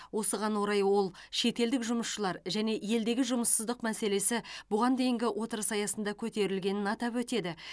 осыған орай ол шетелдік жұмысшылар және елдегі жұмыссыздық мәселесі бұған дейінгі отырыс аясында көтерілгенін атап өтеді